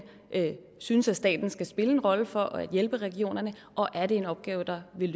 synes at staten skal spille en rolle for at hjælpe regionerne og er det en opgave der vil